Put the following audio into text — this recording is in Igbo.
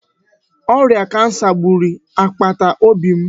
Ọrịa kansa gburu agbata obi m